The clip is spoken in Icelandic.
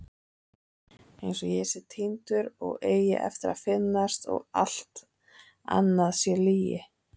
Einsog ég sé týndur og eigi eftir að finnast og allt annað sé lygi.